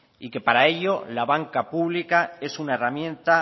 y que para ello la banca pública es una herramienta